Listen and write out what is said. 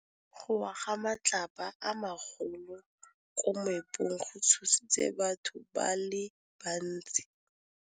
Go wa ga matlapa a magolo ko moepong go tshositse batho ba le bantsi.